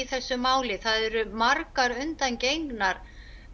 þessu máli það eru margar undangengnar